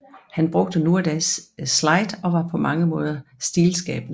Han brugte nu og da slide og var på mange måder stilskabende